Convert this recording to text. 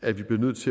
at vi bliver nødt til at